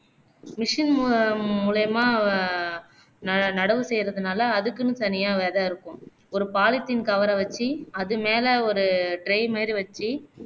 machine மூலம் மூலியமா ந நடவு செய்றதுனாலே அதுக்குன்னு தனியா விதை இருக்கும் ஒரு polythene cover அ வச்சு அது மேல ஒரு tray மாதிரி வச்சு